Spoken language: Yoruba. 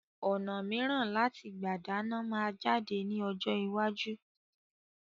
Ọ̀nà miran láti gbà dáná máa jáde ní ọjọ́ iwájú